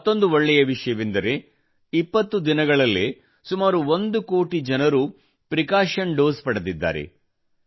ಮತ್ತೊಂದು ಒಳ್ಳೇ ವಿಷಯವೆಂದರೆ 20 ದಿನಗಳಲ್ಲೇ ಸುಮಾರು 1 ಕೋಟಿ ಜನರು ಪ್ರಿಕಾಶನ್ ಡೋಸ್ ಪಡೆದಿದ್ದಾರೆ